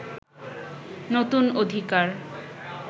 নতুন অধিকার